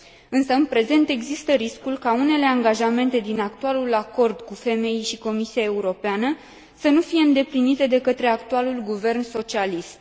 Însă, în prezent, există riscul ca unele angajamente din actualul acord cu FMI și Comisia Europeană să nu fie îndeplinite de către actualul guvern socialist.